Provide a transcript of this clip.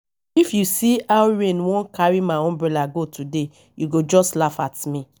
if you see how rain wan carry my umbrella go today you go just laugh at me